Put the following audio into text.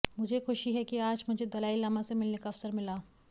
मुझे खुशी है कि आज मुझे दलाईलामा से मिलने का अवसर मिला